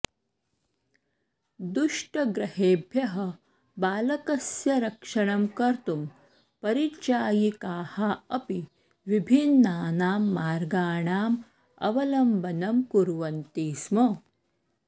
दुष्टग्रहेभ्यः बालकस्य रक्षणं कर्तुं परिचायिकाः अपि विभिन्नानां मार्गाणाम् अवलम्बनं कुर्वन्ति स्म